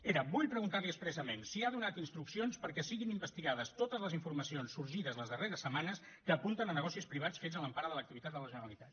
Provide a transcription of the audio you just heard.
era vull preguntar li expressament si ha donat instruccions perquè siguin investigades totes les informacions sorgides les darreres setmanes que apunten a negocis privats fets a l’empara de l’activitat de la generalitat